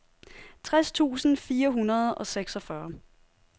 tres tusind fire hundrede og seksogfyrre